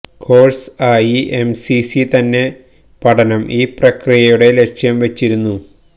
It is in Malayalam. കോഴ്സ് ആയി എംസിസി തന്നെ പഠനം ഈ പ്രക്രിയകളുടെ ലക്ഷ്യം വെച്ചിരിക്കുന്നു